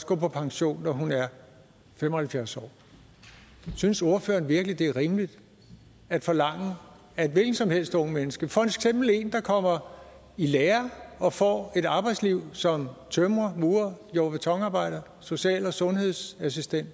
gå på pension når hun er fem og halvfjerds år synes ordføreren virkelig det er rimeligt at forlange at et hvilket som helst ungt mennesker for eksempel en der kommer i lære og får et arbejdsliv som tømrer murer jord og betonarbejder social og sundhedsassistent